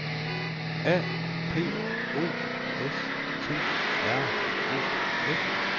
A P O S T R O F